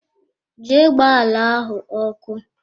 Jee gba ala ahụ ọkụ!